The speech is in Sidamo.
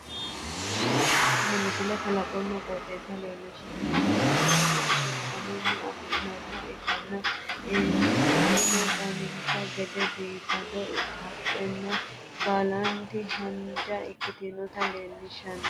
tini misile kalaqonna qooxeessa leellishshannote kunni qoxeessu kalamunni afi'noonniha ikkanna inino dancha gede biifinoho haqqeno baalanti haanja ikkite leeltanni noote